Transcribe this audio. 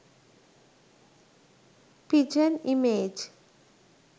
pigeon image